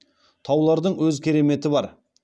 таулардың өз кереметі бар